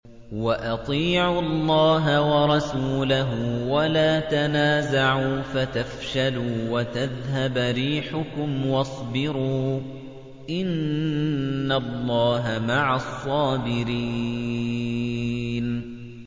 وَأَطِيعُوا اللَّهَ وَرَسُولَهُ وَلَا تَنَازَعُوا فَتَفْشَلُوا وَتَذْهَبَ رِيحُكُمْ ۖ وَاصْبِرُوا ۚ إِنَّ اللَّهَ مَعَ الصَّابِرِينَ